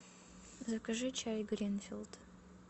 закажи чай гринфилд